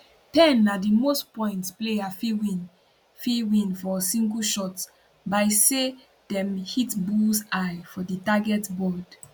10 na di most points player fit win fit win for single shot by say dem hit bullseye for di target board